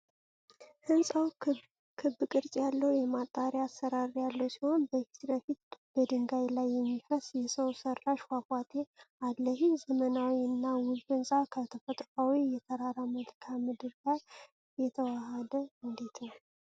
ህንጻው ክብ ቅርፅ ያለው የጣሪያ አሠራር ያለው ሲሆን፣ በፊት ለፊት በድንጋይ ላይ የሚፈስ የሰው ሰራሽ ፏፏቴ አለ። ይህ ዘመናዊ እና ውብ ሕንፃ ከተፈጥሯዊው የተራራ መልክዓ ምድር ጋር የተዋሃደው እንዴት ነው?